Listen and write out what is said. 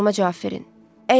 Sualıma cavab verin.